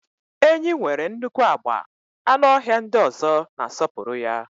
Enyí nwere nnukwu agba, anụ ọhịa ndị ọzọ na-asọpụrụ ya.